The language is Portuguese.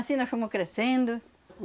Assim nós fomos crescendo.